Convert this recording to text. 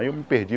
Aí eu me perdi.